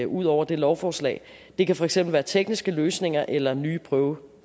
ud over det lovforslag det kan for eksempel være tekniske løsninger eller nye prøveformer